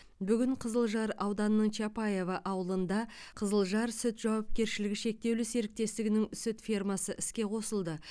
бүгін қызылжар ауданының чапаево ауылында қызылжар сүт жауапкершілігі шектеулі серіктестігінің сүт фермасы іске қосылды